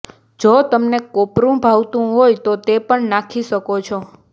જો તમને કોપરૂ ભાવતુ હોય તો તે પણ નાંખી શકો છો